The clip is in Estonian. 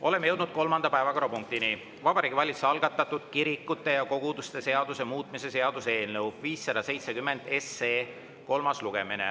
Oleme jõudnud kolmanda päevakorrapunktini: Vabariigi Valitsuse algatatud kirikute ja koguduste seaduse muutmise seaduse eelnõu 570 kolmas lugemine.